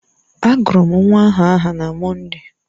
A gụrụ m nwa ahụ aha na Mọnde